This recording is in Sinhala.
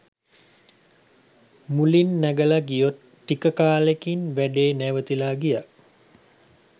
මුලින් නැගල ගියත් ටික කාලෙකින් වැඩේ නැවතිලා ගියා.